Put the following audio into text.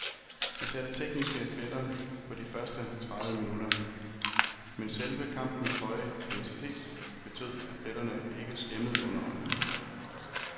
Det satte tekniske pletter på de første tredive minutter, men selve kampens høje intensitet betød, at pletterne ikke skæmmede underholdningen.